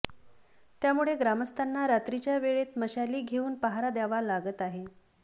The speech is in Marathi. त्यामुळे ग्रामस्थांना रात्रीच्या वेळेत मशाली घेऊन पहारा द्यावा लागत आहे